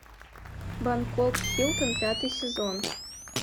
бангкок хилтон пятый сезон